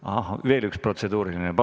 Kas veel üks protseduuriline?